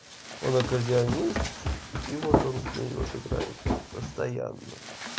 он аккордеонист и вот он с ней вот играет вот постоянно